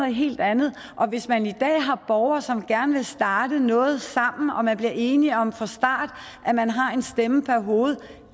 helt andet og hvis man i dag har borgere som gerne vil starte noget sammen og man bliver enige om fra starten at man har en stemme per hoved